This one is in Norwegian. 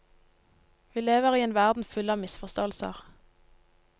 Vi lever i en verden full av misforståelser.